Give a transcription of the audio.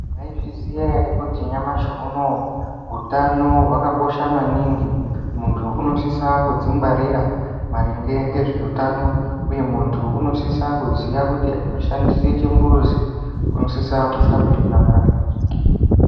Maizviziya ere kuti nyamashi unowu hutano hwakakosha maningi? Muntu unosisa kudzingwarira maringe ngezveutano uye muntu unosisa kuziya kuti ashandise chimbuzi unosisa kushambe nyara.